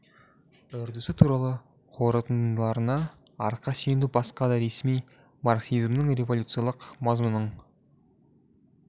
үрдісі туралы қорытындыларына арқа сүйеніп басқа да ресми марксизмнің революциялық мазмұнының